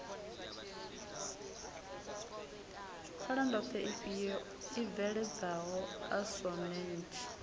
pfalandoḓhe ifhio i bveledzaho asonentsi